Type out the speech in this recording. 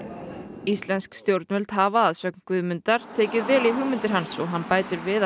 íslensk stjórnvöld hafa að sögn Guðmundar tekið vel í hugmyndir hans og hann bætir við að